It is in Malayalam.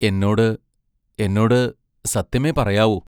എന്നോട് എന്നോട് സത്യമേ പറയാവൂ.